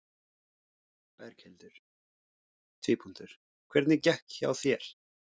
Berghildur: Hvernig gekk hjá þér?